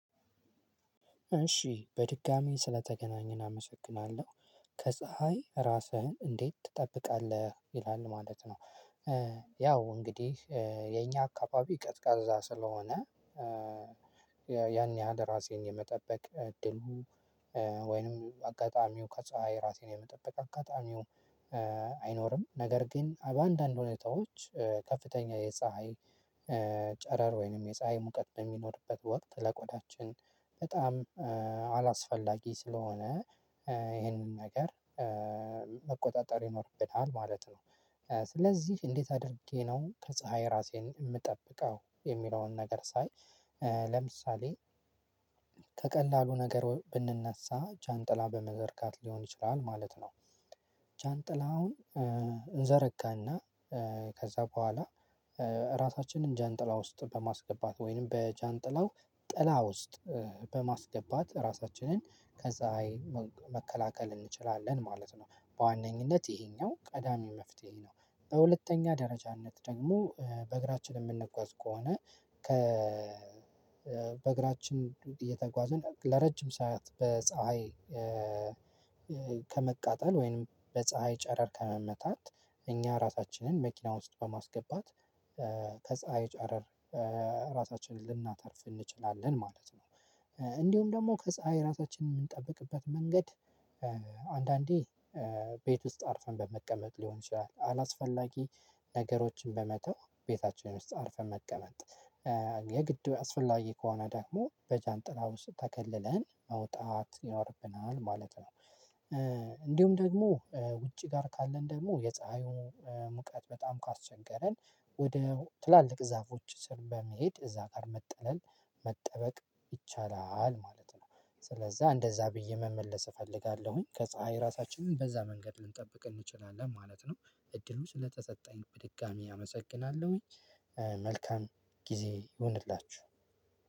እሺ በድጋሚ ስለተገናኘን አመሰግናለሁ ከፀሀይ ራስህን እንዴት ትጠብቃለህ ይላል ማለት ነው? ያው እንግዲህ የኛ አካባቢ ቀዝቃዛ ስለሆነ ያን ያህል ራሴን የመጠበቅ እድሉ ወይንም አጋጣሚው ከፀሀይ ራሴን የመጠበቅ አጋጣሚው አይኖርም ነገር ግን በአንዳንድ ሁኔታዎች ከፍተኛ የፀሀይ ጨረር ወይንም የፀሀይ ሙቀት በሚኖርበት ወቅት ለቆዳችን በጣም አላስፈላጊ ስለሆነ ይሄንን ነገር መቆጣጠር ይኖርብናል ማለት ነው። ስለዚህ እንዴት አድርጌ ነው ከፀሀይ ራሴን የምጠብቀው የሚለውን ነገር ሳይ ለምሳሌ ከቀላሉ ነገር ብንነሳ ጃንጥላ በመዘርጋት ሊሆን ይችላል ማለት ነው። ጃንጥላ አሁን እንዘረጋና ከዛ በኋላ ራሳችንን ጃንጥላ ውስጥ በማስገባት ወይንም በጃንጥላው ጥላ ውስጥ በማስገባት ራሳችንን ከፀሀይ መከላከል እንችላለን ማለት ነው በዋነኝነት ይሄኛው ቀዳሚ መፍትሄ ነው። በሁለተኛ ደረጃነት ደግሞ በእግራችን የምንጓዝ ከሆነ ከ በእግራችን እየተጓዙ ለረጅም ሰዓት በፀሀይ ከመቃጠል ወይም በፀሀይ ጨረር ከመመታት እኛ ራሳችንን መኪና ውስጥ በማስገባት ከፀሀይ ጨረር ራሳችንን ልናተርፍ እንችላለን ማለት ነው። እንዲሁም ደግሞ ከፀሀይ ራሳችንን የምንጠብቅበት መንገድ አንዳንዴ ቤት ውስጥ አርፈን በመቀመጥ ሊሆን ይችላል አላስፈላጊ ነገሮችን በመተው ቤታችን ውስጥ አርፈን መቀመጥ የግድ አስፈላጊ ከሆነ ደግሞ በጃንጥላ ውስጥ ተከልለን መውጣት ይኖርብናል ማለት ነው። እንዲሁም ደግሞ ውጪ ጋር ካለን ደግሞ የፀሀዩን ሙቀት በጣም ካስቸገረን ወደ ትላልቅ ዛፎች ስር በመሄድ እዛ ጋር መጠለል መጠበቅ ይቻላል ማለት ነው። ስለዛ እንደዛ ብዬ መመለስ እፈልጋለሁኝ ከፀሀይ ራሳችን በዛ መንገድ ልንጠብቅ እንችላለን ማለት ነው። እድሉ ስለተጠጣኝ በድጋሚ አመሰግናለሁኝ መልካም ጊዜ ይሁንላችሁ